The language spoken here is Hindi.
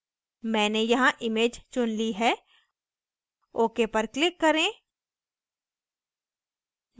मैंने यहाँ image चुन ली है ok पर click करें